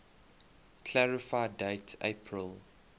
clarify date april